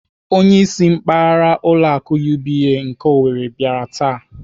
Onyeisi mpaghara ụlọ akụ UBA nke Owerri bịara taa.